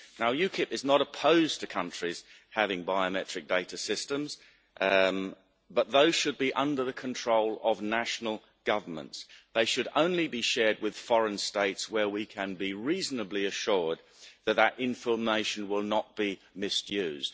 UKIP is not opposed to countries having biometric data systems, but they should be under the control of national governments, and they should only be shared with foreign states where we can be reasonably assured that that information will not be misused.